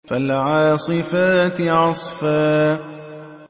فَالْعَاصِفَاتِ عَصْفًا